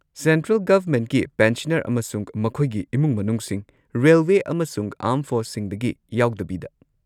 Central ꯒꯚꯔꯃꯦꯟꯠꯀꯤ pensioner ꯑꯃꯁꯨꯡ ꯃꯈꯣꯏꯒꯤ ꯏꯃꯨꯡ-ꯃꯅꯨꯡꯁꯤꯡ (ꯔꯦꯜꯋꯦ ꯑꯃꯁꯨꯡ ꯑꯥꯔꯝ ꯐꯣꯔꯁꯁꯤꯡꯗꯒꯤ ꯌꯥꯎꯗꯕꯤꯗ)꯫